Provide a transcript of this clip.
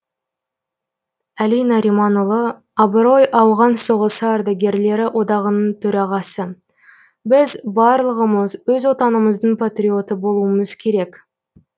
әли нариманұлы абырой ауған соғысы ардагерлері одағының төрағасы біз барлығымыз өз отанымыздың патриоты болуымыз керек